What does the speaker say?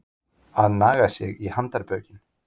Að naga sig í handarbökin